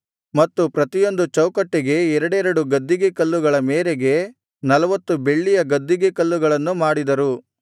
ಮತ್ತು ಪ್ರತಿಯೊಂದು ಚೌಕಟ್ಟಿಗೆ ಎರಡೆರಡು ಗದ್ದಿಗೆಕಲ್ಲುಗಳ ಮೇರೆಗೆ ನಲ್ವತ್ತು ಬೆಳ್ಳಿಯ ಗದ್ದಿಗೆಕಲ್ಲಗಳನ್ನು ಮಾಡಿದರು